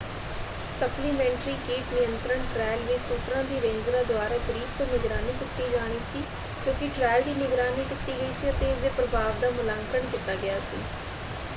Supplementary ਕੀਟ ਨਿਯੰਤਰਣ trial ਵਿੱਚ ਸ਼ੂਟਰਾਂ ਦੀ ਰੇਂਜਰਾਂ ਦੁਆਰਾ ਕਰੀਬ ਤੋਂ ਨਿਗਰਾਨੀ ਕੀਤੀ ਜਾਣੀ ਸੀ ਕਿਉਂਕਿ ਟ੍ਰਾਇਲ ਦੀ ਨਿਗਰਾਨੀ ਕੀਤੀ ਗਈ ਸੀ ਅਤੇ ਇਸਦੇ ਪ੍ਰਭਾਵ ਦਾ ਮੁਲਾਂਕਣ ਕੀਤਾ ਗਿਆ ਸੀ।